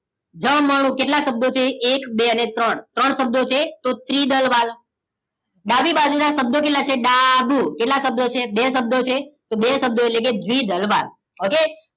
જ મ ણું કેટલા શબ્દો છે એક બે અને ત્રણ ત્રણ શબ્દ છે તો ત્રિદલ વાલ્વ ડાબી બાજુના શબ્દો કેટલા છે ડાબું કેટલા શબ્દો છે બે શબ્દો છે બે શબ્દો એટલેકે દ્રીવી દલ વાલ્વ ઓકે